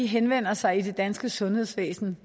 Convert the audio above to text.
henvender sig i det danske sundhedsvæsen